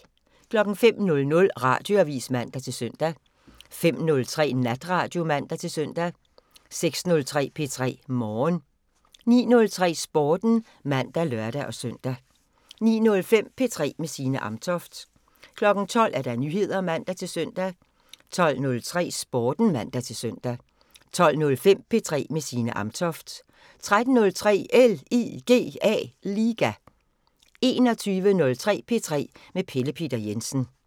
05:00: Radioavisen (man-søn) 05:03: Natradio (man-søn) 06:03: P3 Morgen 09:03: Sporten (man og lør-søn) 09:05: P3 med Signe Amtoft 12:00: Nyheder (man-søn) 12:03: Sporten (man-søn) 12:05: P3 med Signe Amtoft 13:03: LIGA 21:03: P3 med Pelle Peter Jensen